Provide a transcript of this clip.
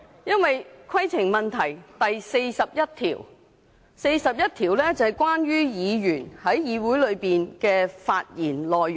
因為，《議事規則》第41條是有關議員在議會內的發言內容。